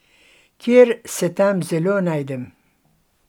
Ker se tam zelo najdem.